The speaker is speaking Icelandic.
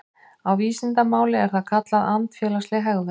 Á vísindamáli er það kallað andfélagsleg hegðun.